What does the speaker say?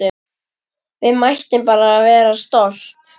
Við mættum bara vera stolt!